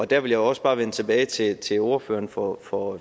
der vil jeg også bare vende tilbage til til ordføreren for for